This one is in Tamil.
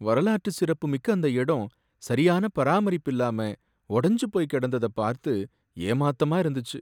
வரலாற்று சிறப்புமிக்க அந்த இடம் சரியான பராமரிப்பில்லாம ஒடஞ்சு போய் கிடந்தத பார்த்து ஏமாத்தமா இருந்துச்சு.